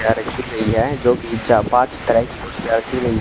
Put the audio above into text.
यहां रखी गई है जो की चार पांच तरह की कुर्सियां रखी गई--